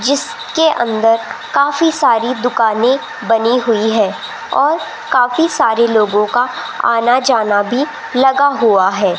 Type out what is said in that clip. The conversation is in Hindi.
जिसके अंदर काफी सारी दुकानें बनी हुई है और काफी सारे लोगों का आना जाना भी लगा हुआ है।